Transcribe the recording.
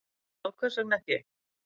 Já, hvers vegna ekki?